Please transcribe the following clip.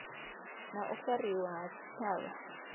na u fariwa ha tshitshavha